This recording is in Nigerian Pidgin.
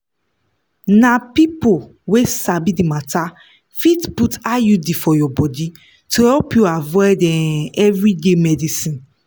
na people wey sabi the matter fit put iud for your body to help you avoid um everyday medicines